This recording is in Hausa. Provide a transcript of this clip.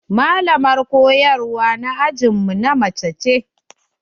Malamin koyarwa na ajin mu na mace ce.